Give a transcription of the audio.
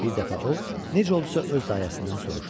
Bir dəfə o, necə oldusa öz dayəsindən soruşdu.